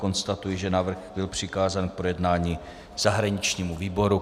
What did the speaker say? Konstatuji, že návrh byl přikázán k projednání zahraničnímu výboru.